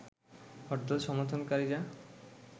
হরতাল সমর্থন কারীরা